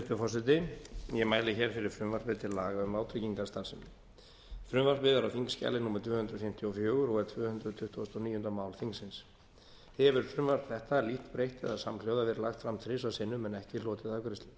hæstvirtur forseti ég mæli hér fyrir frumvarpi til laga um vátryggingastarfsemi frumvarpið er á þingskjali númer tvö hundruð fimmtíu og fjögur og er tvö hundruð tuttugustu og níunda mál þingsins hefur frumvarp þetta lítt breytt eða samhljóða verið lagt fram þrisvar sinnum en ekki hlotið afgreiðslu